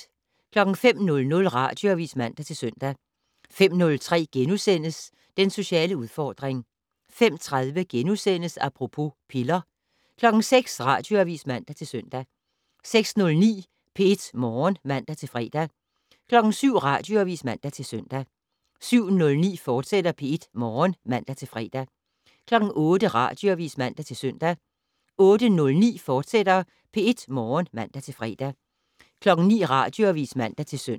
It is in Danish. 05:00: Radioavis (man-søn) 05:03: Den sociale udfordring * 05:30: Apropos - piller * 06:00: Radioavis (man-søn) 06:09: P1 Morgen (man-fre) 07:00: Radioavis (man-søn) 07:09: P1 Morgen, fortsat (man-fre) 08:00: Radioavis (man-søn) 08:09: P1 Morgen, fortsat (man-fre) 09:00: Radioavis (man-søn)